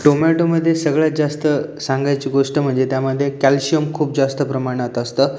Tomato मध्ये सगळ्यात जास्त सांगायची गोष्ट म्हणजे त्या मध्ये कॅल्शियम खूप जास्त प्रमाणात असतं.